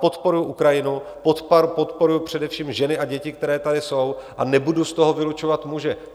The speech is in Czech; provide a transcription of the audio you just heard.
Podporuji Ukrajinu, podporuji především ženy a děti, které tady jsou, a nebudu z toho vylučovat muže.